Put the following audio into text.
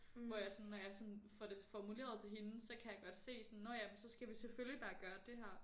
Hvor jeg sådan når jeg sådan får det formuleret til hende så kan jeg godt se sådan nå ja men så skal vi selvfølgelig bare gøre det her